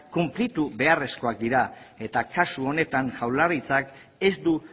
konplitu beharrezkoak dira eta kasu honetan jaurlaritzak ez du